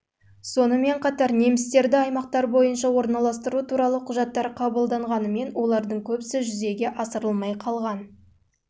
сонымен қатар немістерді аймақтар бойынша орналастыру туралы құжаттар қабылданғанымен олардың көбісі жүзеге асырылмай қалған